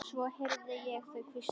Svo heyrði ég þau hvísla.